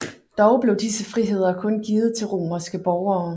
Dog blev disse friheder kun givet til romerske borgere